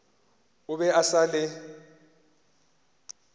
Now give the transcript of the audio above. o be a sa le